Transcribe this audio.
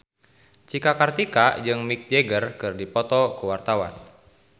Cika Kartika jeung Mick Jagger keur dipoto ku wartawan